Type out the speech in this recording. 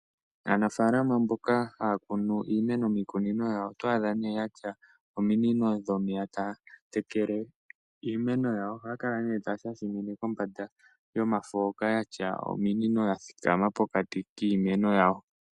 Aanafaalama mboka haya kunu iimeno miikunino yawo oto adha nduno ya tya ominino dhomeya taya tekele iimeno yawo. Ohaya kala nduno taya shashamine kombanda yomafo hoka ya tya ominino ya thikama pokati kiimeno yawo.